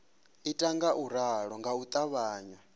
ita ngauralo nga u ṱavhanya